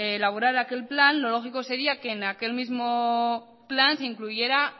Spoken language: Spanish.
elaborar aquel plan lo lógico sería que en aquel mismo plan se incluyera